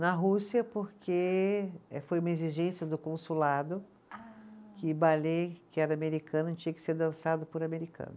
Na Rússia, porque eh, foi uma exigência do consulado. Ah. Que balê, que era americano, tinha que ser dançado por americano.